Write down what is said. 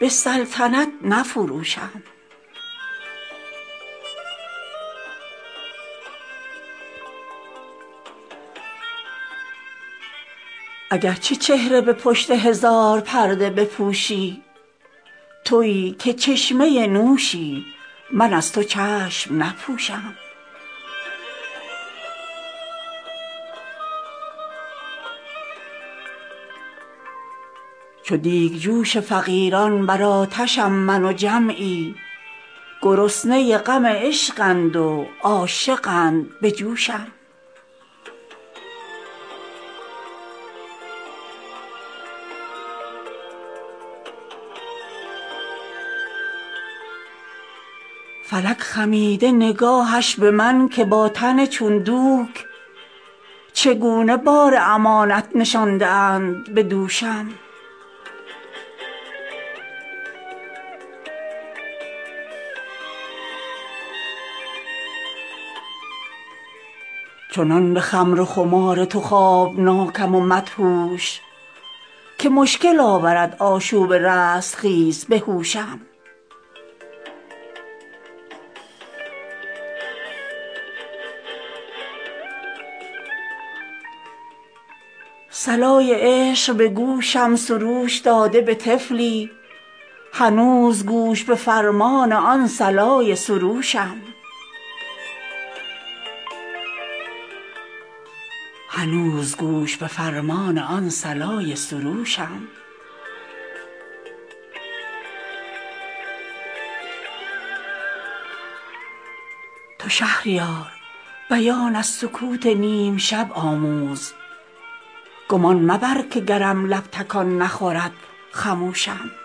به سلطنت نفروشم اگرچه چهره به پشت هزار پرده بپوشی تویی که چشمه نوشی من از تو چشم نپوشم چو دیگجوش فقیران بر آتشم من و جمعی گرسنه غم عشقند و عاشقند به جوشم خراش سینه مگو سیم ساز عاشق زخمی که سینه ها بخراشد به زخمه های خروشم به نیش ناوک مژگان بسازمش به امیدی که لعل لب بچشاند مذاق چشمه نوشم فلک خمیده نگاهش به من که با تن چون دوک چگونه بار امانت نشانده اند به دوشم نه شمعی و نه چراغی در این سراچه چشمم نه پیکی و نه پیامی بر این دریچه گوشم کشیده کار به جایی که نام دیو سلیمان گرم نه دست به خاتم چه سود از اینکه بکوشم چرا سبوکش دردی کشان عشق نباشم مگر نه رند خرابات پیر باده فروشم چنان به خمر و خمار تو خوابناکم و مدهوش که مشکل آورد آشوب رستخیز به هوشم صلای عشق به گوشم سروش داده به طفلی هنوز گوش به فرمان آن صلای سروشم تو شهریار بیان از سکوت نیم شب آموز گمان مبر که گرم لب تکان نخورد خموشم